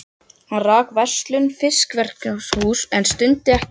Hann rak verslun og fiskverkunarhús en stundaði ekki útgerð.